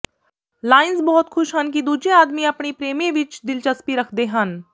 Lions ਬਹੁਤ ਖੁਸ਼ ਹਨ ਕਿ ਦੂਜੇ ਆਦਮੀ ਆਪਣੇ ਪ੍ਰੇਮੀ ਵਿੱਚ ਦਿਲਚਸਪੀ ਰੱਖਦੇ ਹਨ